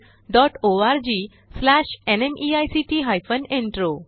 spoken tutorialorgnmeict intro